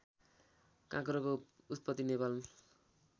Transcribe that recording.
काँक्रोको उत्पत्ति नेपाल